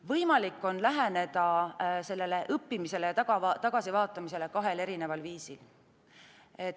Võimalik on läheneda sellele õppimisele ja tagasivaatamisele kahel viisil.